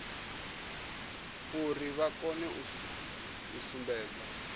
uri vha kone u sumbedza